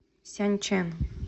сянчэн